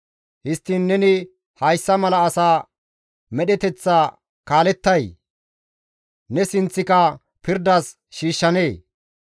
Histtiin neni hayssa mala asa medheteththa kaalettay? Ne sinththika pirdas shiishshanee?